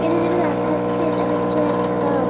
এটা যেটা দেখা যাচ্ছে এটা হচ্ছে এক দাম।